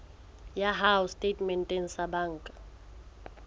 ya hao setatementeng sa banka